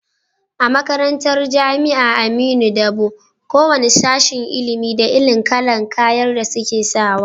A makarantar jamia aminu dabo, ko wane sashen ilimin da irin kalar kayan da suke sawa